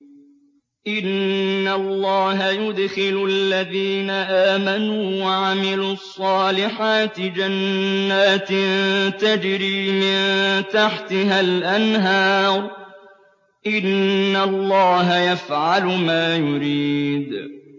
إِنَّ اللَّهَ يُدْخِلُ الَّذِينَ آمَنُوا وَعَمِلُوا الصَّالِحَاتِ جَنَّاتٍ تَجْرِي مِن تَحْتِهَا الْأَنْهَارُ ۚ إِنَّ اللَّهَ يَفْعَلُ مَا يُرِيدُ